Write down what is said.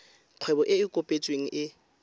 kgwebo e e kopetsweng e